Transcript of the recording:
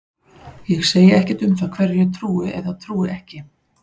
Ég segi ekkert um það hverju ég trúi eða trúi ekki.